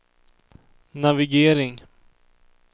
navigering